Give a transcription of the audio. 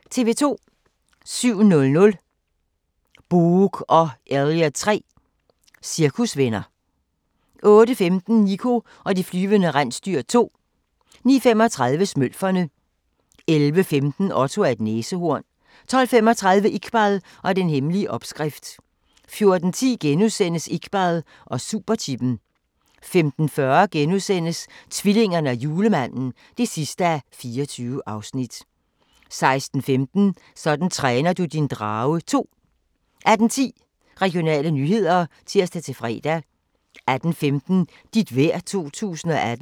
07:00: Boog & Elliot 3 - cirkusvenner 08:15: Niko og de flyvende rensdyr 2 09:35: Smølferne 11:15: Otto er et næsehorn 12:35: Iqbal & den hemmelige opskrift 14:10: Iqbal og superchippen * 15:40: Tvillingerne og julemanden (24:24)* 16:15: Sådan træner du din drage 2 18:10: Regionale nyheder (tir-fre) 18:15: Dit vejr 2018